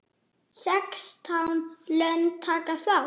Sextán lönd taka þátt.